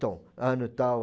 ano tal